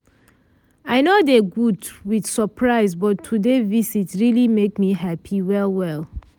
i nor dey good with surprise but today visit really make me happy well well.